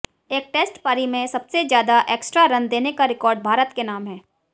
एक टेस्ट पारी में सबसे ज्यादा एक्स्ट्रा रन देने का रिकॉर्ड भारत के नाम है